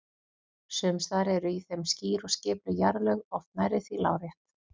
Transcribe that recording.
Sums staðar eru í þeim skýr og skipuleg jarðlög, oft nærri því lárétt.